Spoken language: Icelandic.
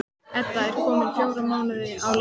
Edda er komin fjóra mánuði á leið.